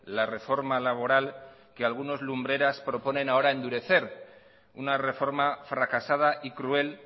la reforma laboral que algunos lumbreras proponen ahora endurecer una reforma fracasada y cruel